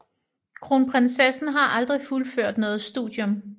Kronprinsessen har aldrig fuldført noget studium